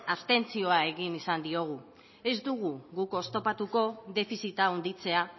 abstentzioa egin izan diogu ez dugu guk oztopatuko defizita handitzea